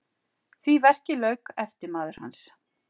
Því verki lauk eftirmaður hans